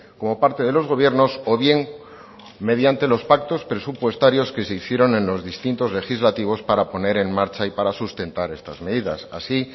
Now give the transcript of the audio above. como parte de los gobiernos o bien mediante los pactos presupuestarios que se hicieron en los distintos legislativos para poner en marcha y para sustentar estas medidas así